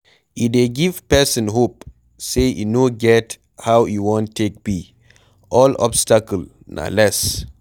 E dey give person hope sey e no get how e wan take be, all obstacle na less